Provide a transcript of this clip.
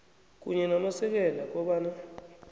kunye namasekela kobana